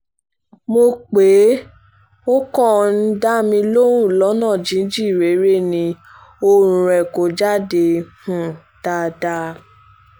mo pè é ò kàn ń um dá mi lóhùn lọ́nà jínjìn réré ni ohùn rẹ̀ kò jáde um dáadáa